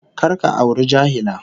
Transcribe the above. Kar ka auri jahila